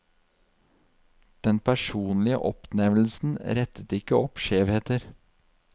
Den personlige oppnevnelsen rettet ikke opp skjevheter.